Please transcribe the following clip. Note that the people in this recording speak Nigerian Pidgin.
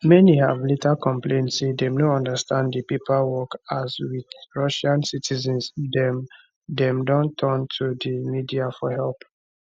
many have later complain say dem no understand di paperwork as with russian citizens dem dem don turn to di media for help